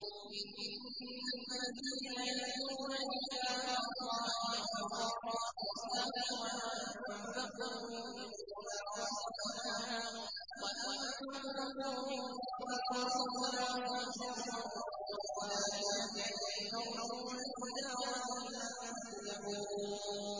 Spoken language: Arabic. إِنَّ الَّذِينَ يَتْلُونَ كِتَابَ اللَّهِ وَأَقَامُوا الصَّلَاةَ وَأَنفَقُوا مِمَّا رَزَقْنَاهُمْ سِرًّا وَعَلَانِيَةً يَرْجُونَ تِجَارَةً لَّن تَبُورَ